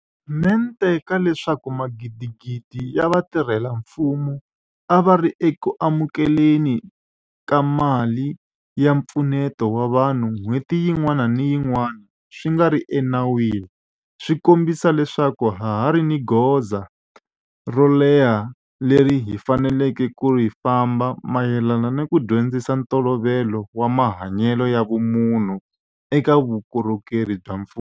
mente ka leswaku magidigidi ya vatirhela mfumo a va ri eku amukele ni ka mali ya mpfuneto wa vanhu n'hweti yin'wana ni yin'wana swi nga ri ena wini swi kombisa leswaku ha ha ri ni gondzo ro leha leri hi faneleke ku ri famba mayelana ni ku dyondzisa ntolovelo wa mahanyelo ya vumunhu eka vuko rhokeri bya mfumo.